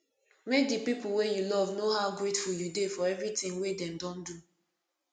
make di pipo wey you love know how grateful you dey for everything wey dem don do